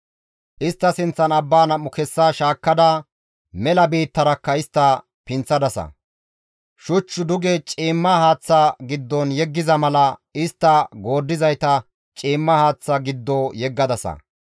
Istta sinththan abbaa nam7u kessa shaakkada, mela biittarakka istta pinththadasa; Shuch duge ciimma haaththa giddon yeggiza mala istta gooddizayta ciimma haaththa giddo yeggadasa.